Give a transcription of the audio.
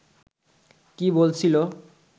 কি বলছিল